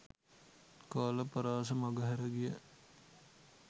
කාල පරාස මඟහැර ගිය